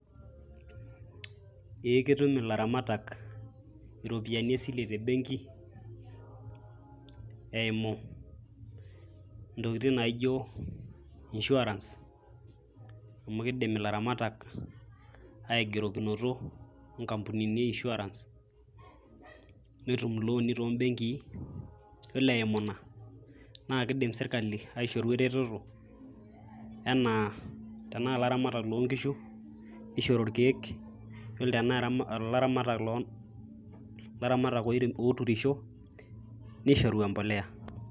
Ee ketum ilaramatak iropiyiani esile te benki eimu ntokitin naijo insurance amu kidim ilaramatak aigerokinoto onkampunini e insurance netumilooni too benkii .Yiolo eimu inaa naa kidim sirkali ereteto anaa tenaa ilaramatak loo nkishu nishori irkieek, yiolo tenaa ilaramatak louninisho nishoru empolea.